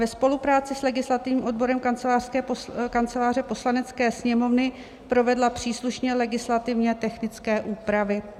ve spolupráci s legislativním odborem Kanceláře Poslanecké sněmovny provedla příslušné legislativně technické úpravy."